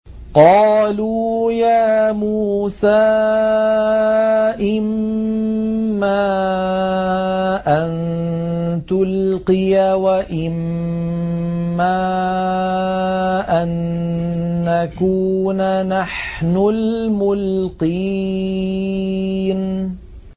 قَالُوا يَا مُوسَىٰ إِمَّا أَن تُلْقِيَ وَإِمَّا أَن نَّكُونَ نَحْنُ الْمُلْقِينَ